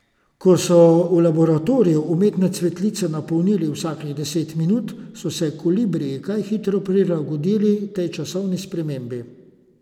Ko so v laboratoriju umetne cvetlice napolnili vsakih deset minut, so se kolibriji kaj hitro prilagodili tej časovni spremembi.